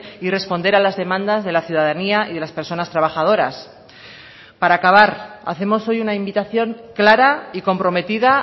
y responder a las demandas de la ciudadanía y de las personas trabajadoras para acabar hacemos hoy una invitación clara y comprometida